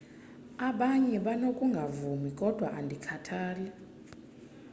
abanye banokungavumi kodwa andikhathali